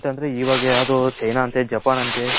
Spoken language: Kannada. ಇವಾಗ ಯಾದೋ ಚೀನಾ ಅಂತ ಜಪಾನ್ ಅಂತೆ.